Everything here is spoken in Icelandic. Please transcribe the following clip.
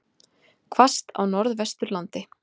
Hvasst á Norðvesturlandi